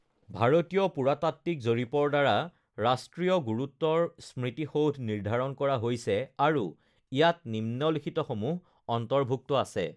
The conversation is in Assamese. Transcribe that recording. "ভাৰতীয় পুৰাতাত্ত্বিক জৰীপৰ দ্বাৰা ""ৰাষ্ট্ৰীয় গুৰুত্বৰ স্মৃতিসৌধ"" নিৰ্ধাৰণ কৰা হৈছে আৰু ইয়াত নিম্নলিখিতসমূহ অন্তৰ্ভুক্ত আছে:"